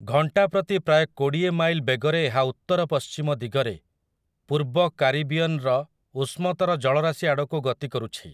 ଘଣ୍ଟା ପ୍ରତି ପ୍ରାୟ କୋଡ଼ିଏ ମାଇଲ୍ ବେଗରେ ଏହା ଉତ୍ତରପଶ୍ଚିମ ଦିଗରେ, ପୂର୍ବ କାରିବିଅନ୍‌ର ଉଷ୍ମତର ଜଳରାଶି ଆଡ଼କୁ ଗତି କରୁଛି ।